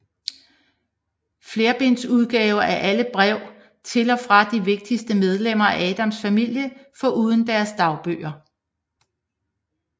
Flerbinds udgave af alle brev til og fra de vigtigste medlemmer af Adams familien foruden deres dagbøger